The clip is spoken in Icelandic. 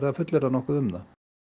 fullyrða nokkuð um það